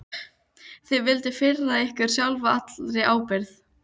Þið vilduð firra ykkur sjálfa allri ábyrgð.